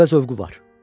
Qəribə zövqü var.